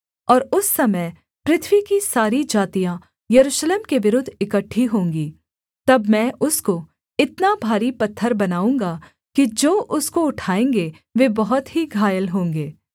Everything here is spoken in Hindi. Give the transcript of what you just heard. और उस समय पृथ्वी की सारी जातियाँ यरूशलेम के विरुद्ध इकट्ठी होंगी तब मैं उसको इतना भारी पत्थर बनाऊँगा कि जो उसको उठाएँगे वे बहुत ही घायल होंगे